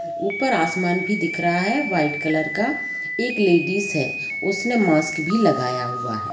ऊपर आसमान भी दिख रहा है व्हाइट कलर का एक लेडीज है उसने मास्क भी लगाया हुआ हैं।